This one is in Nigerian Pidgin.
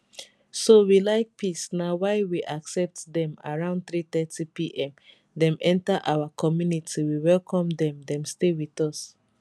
so we like peace na why we accept dem around 330 pm dem enta our community we welcome dem dem stay wit us